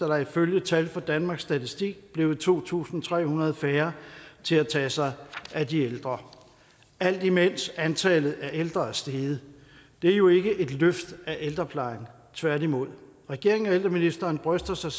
der ifølge tal fra danmarks statistik blevet to tusind tre hundrede færre til at tage sig af de ældre alt imens antallet af ældre er steget det er jo ikke et løft af ældreplejen tværtimod regeringen og ældreministeren bryster sig